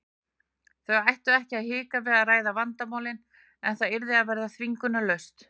Þau ættu ekki að hika við að ræða vandamálin en það yrði að vera þvingunarlaust.